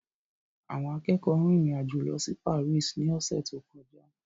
Àwọn akẹ́kọ̀ọ́ rìnrìn àjò lọ sí Paris ní ọ̀sẹ̀ tó kọjá.